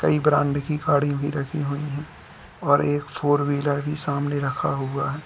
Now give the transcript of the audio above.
कई ब्रांड की गाड़ी भी रखी हुई है और एक फोर व्हीलर भी सामने रखा हुआ है।